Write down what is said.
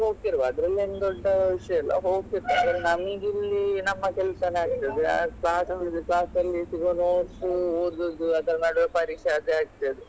ಹೋಗ್ತಿರುವ ಅದ್ರಲ್ಲೇನು ದೊಡ್ಡ ವಿಷಯ ಇಲ್ಲ ಹೋಗ್ತಿರ್ತಾರೆ ಆದ್ರೆ ನಮ್ಗಿಲ್ಲಿ ನಮ್ಮ ಕೆಲ್ಸನೆ ಆಗ್ತದೆ ಅದ್ class ಮುಗಿದು class ಅಲ್ಲಿ ಸಿಗುವ notes ಉ ಓದುದು ಅದ್ದನ್ ಮಾಡುವಾಗ ಪರೀಕ್ಷೆ ಅದೆ ಆಗ್ತದೆ.